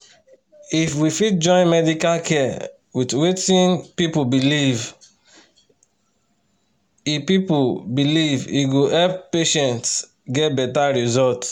if we fit join medical care with wetin people believe e people believe e go help patients get better result.